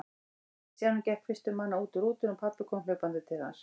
Stjáni gekk fyrstur manna út úr rútunni og pabbi kom hlaupandi til hans.